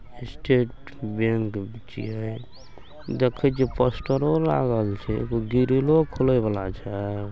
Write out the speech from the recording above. State Bank छिये देखे छिये पोस्टरों लागल छै एगो ग्रिलो खोले वला छै।